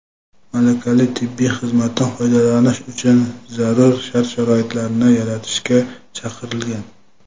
malakali tibbiy xizmatdan foydalanish uchun zarur shart-sharoitlarni yaratishga chaqirilgan.